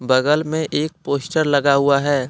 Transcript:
बगल में एक पोस्टर लगा हुआ है।